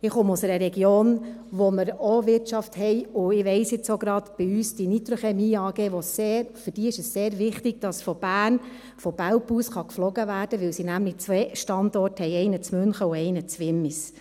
Ich komme aus einer Region, wo wir auch Wirtschaft haben, und ich weiss jetzt auch gerade, dass es für die Nitrochmie AG sehr wichtig ist, dass von Bern, von Belp aus geflogen werden kann, weil sie nämlich zwei Standorte haben, einen in München und einen in Wimmis.